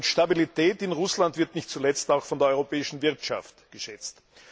Stabilität in Russland wird nicht zuletzt auch von der europäischen Wirtschaft geschätzt.